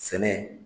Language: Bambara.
Sɛnɛ